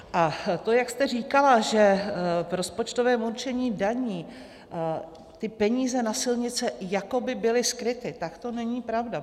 A to, jak jste říkala, že v rozpočtovém určení daní ty peníze na silnice jako by byly skryty, tak to není pravda.